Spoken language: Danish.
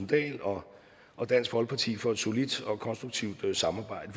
dahl og og dansk folkeparti for et solidt og konstruktivt samarbejde